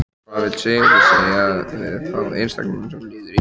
Hvað vill Sigurður segja við þá einstaklinga sem líður illa?